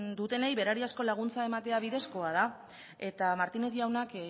dutenei berariazko laguntza ematea bidezkoa da eta martínez jaunak